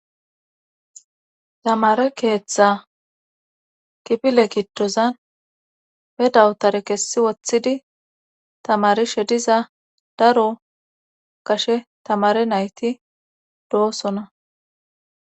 Zamaare keeththa kifile giddozan he dawutare kessi woththidii tamaarishe diza daro gashe tamaare nayti doosona